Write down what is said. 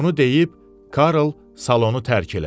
Bunu deyib, Karl salonu tərk elədi.